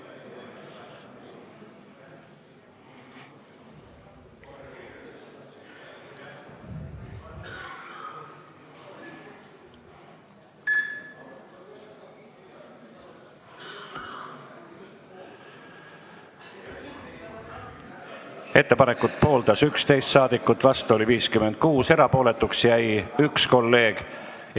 Hääletustulemused Ettepanekut pooldas 11 ja vastu oli 56 saadikut, erapooletuks jäi 1 kolleeg.